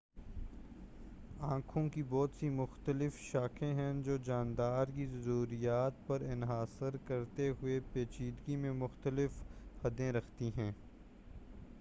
آنکھوں کی بہت سی مختلف ساختیں ہیں جو جاندار کی ضروریات پر انحصار کرتے ہوئے پیچیدگی میں مختلف حدیں رکھتی ہیں